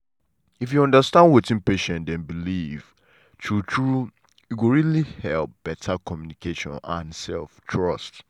if you understand wetin patient dem believe true true e go really help better communication and um trust.